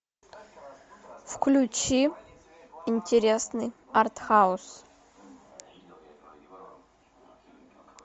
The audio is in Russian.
включи интересный артхаус